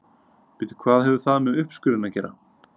Bíddu hvað hefur það með uppskurðinn að gera?